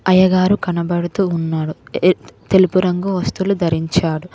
అయ్యగారు కనబడుతూ వున్నాడు ఇదెత్ తెలుపు రంగు దుస్తులు ధరించాడు.